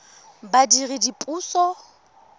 badiredipuso